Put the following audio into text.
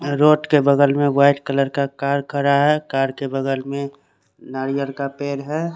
Road के बगल में व्हाइट कलर का कार खड़ा है। कार के बगल में नारियल का पेड़ है।